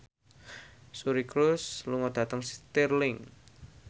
Suri Cruise lunga dhateng Stirling